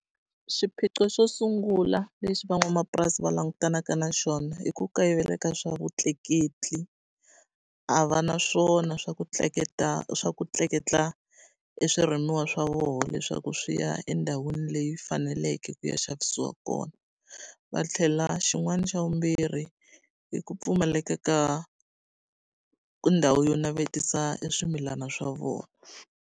Xiphiqo xo sungula lexi van'wamapurasi va langutanaka na swona i ku kayivela ka swa vutleketli. A va na swona swa ku swa ku tleketla e swirimiwa swa vona leswaku swi ya endhawini leyi faneleke ku ya xavisiwa kona. Va tlhela xin'wana xa vumbirhi, i ku pfumaleka ka ka ndhawu yo navetisa e swimilana swa vona.